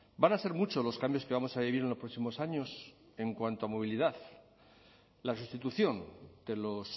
van a ser muchos los cambios que vamos a vivir en los próximos años en cuanto a movilidad la sustitución de los